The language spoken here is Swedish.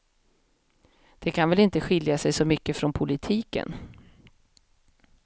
Det kan väl inte skilja sig så mycket från politiken.